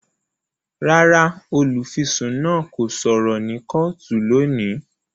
Rárá, olufisun náà kò sọrọ ni kootu loni